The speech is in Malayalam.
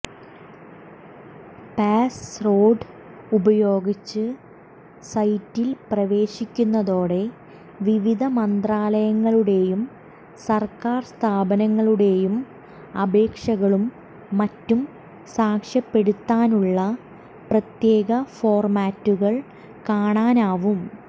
പാസ്വേർഡ് ഉപയോഗിച്ച് സൈറ്റിൽ പ്രവേശിക്കുന്നതോടെ വിവിധ മന്ത്രാലയങ്ങളുടെയും സർക്കാർ സ്ഥാപനങ്ങളുടെയും അപേക്ഷകളും മറ്റും സാക്ഷ്യപ്പെടുത്താനുള്ള പ്രത്യേക ഫോർമാറ്റുകൾ കാണാനാവും